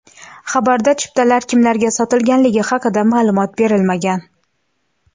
Xabarda chiptalar kimlarga sotilganligi haqida ma’lumot berilmagan.